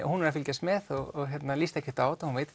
hún er að fylgjast með og líst ekkert á þetta hún veit